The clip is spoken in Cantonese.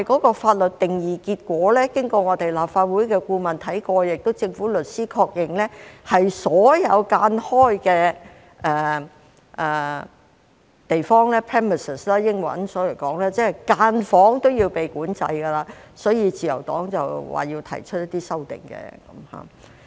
但經立法會法律顧問審視法律定義及政府律師確認，結果是所有分間出來的地方，即英文 premises， 分間房也要被管制，所以自由黨要提出一些修訂。